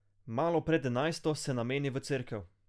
Malo pred enajsto se nameni v cerkev.